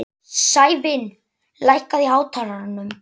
Sævin, lækkaðu í hátalaranum.